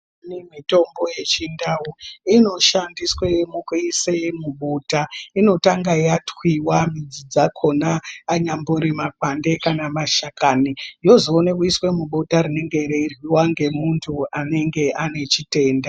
Mitombo yechindau inoshandiswa mukuisa mubota. Inotanga yatwiwa mudzi dzakona anyambori makwande kana mashakani, yozoona kuiswa mubota rinenge reiryiwa ngemuntu anenge ane chitenda .